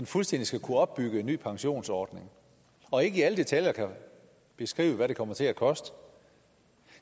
fuldstændig skal kunne opbygge en ny pensionsordning og ikke i alle detaljer beskriver hvad det kommer til at koste